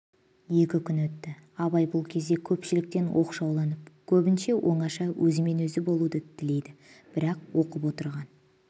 екі күн өтті абай бұл кезде көпшіліктен оқшауланып көбінше оңаша өзімен-өзі болуды тілейді бірақ оқып отырған